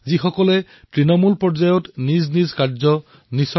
কেৱল তৃণমূল পৰ্যায়ত কাম কৰাত বিশ্বাসী